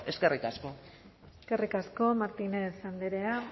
eskerrik asko eskerrik asko martínez andrea